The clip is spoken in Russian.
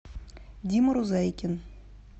дима рузайкин